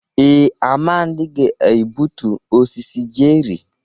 Ee, Amadi ga-egbutu osisi cherrị.